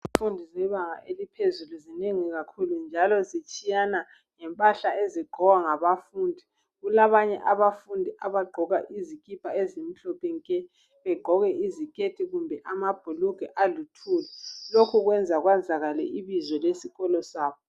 Izifundi zebanga eliphezulu zinengi kakhulu njalo zitshiyana ngempahla ezigqokwa ngabafundi. Kulabanye abafundi abagqoka izikipa ezimhlophe nke, begqoke iziketi kumbe amabhulugwe aluthuli. Lokhu kwenza kwazakale ibizo lesikolo sabo.